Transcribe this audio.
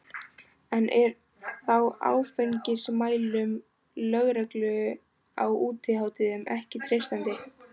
En er þá áfengismælum lögreglu á útihátíðum ekki treystandi?